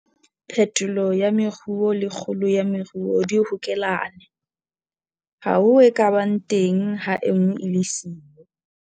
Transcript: Phetolo ya moruo le kgolo ya moruo di hokelane. Ha ho e ka bang teng ha e nngwe e le siyo.